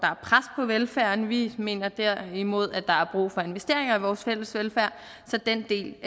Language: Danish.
velfærden vi mener derimod at der er brug for investeringer i vores fælles velfærd så den del